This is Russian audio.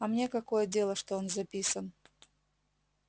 а мне какое дело что он записан